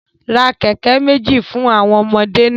Ra keke meji fun awọn ọmọde naa